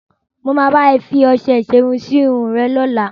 Mo máa bá ẹ fi ọṣẹ ìṣerun sí irun rẹ lọ́la.